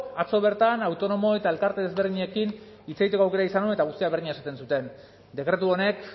atzo bertan autonomo eta elkarte ezberdinekin hitz egiteko aukera izan nuen eta guztiek berdina esaten zuten dekretu honek